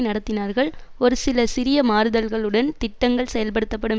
நடத்தினார்கள் ஒரு சில சிறிய மாறுதல்கள் உடன் திட்டங்கள் செயல்படுத்தப்படும்